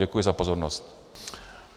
Děkuji za pozornost.